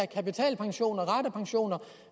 kapitalpensionerne og ratepensionerne